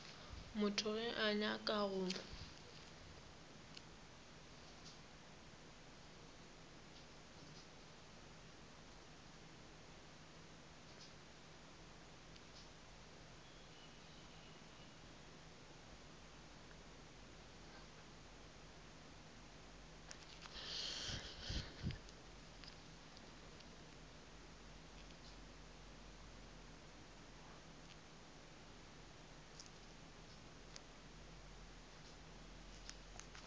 motho ge a nyaka go